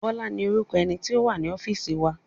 Bọ́lá ni orúkọ ẹni tí ó wá sí ọ́fíìsì wa.